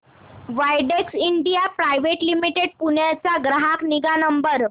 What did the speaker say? Widex India private limited Pune चा ग्राहक निगा नंबर